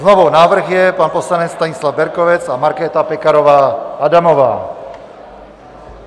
Znovu: návrh je pan poslanec Stanislav Berkovec a Markéta Pekarová Adamová.